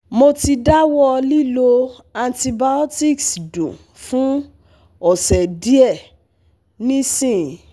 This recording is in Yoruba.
Mo ti dawọ lilo antibiotics dun fun ose diẹ nisin